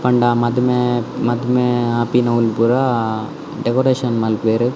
ಪಂಡ ಮದಿಮೆ ಮದ್ಮೆ ಆಪಿನವುಲ್ ಪೂರ ಡೆಕೊರೇಷನ್ ಮನ್ಪುವೆರ್.